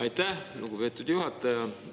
Aitäh, lugupeetud juhataja!